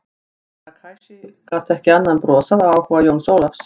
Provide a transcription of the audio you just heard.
Herra Takashi gat ekki annað en brosað af áhuga Jóns Ólafs.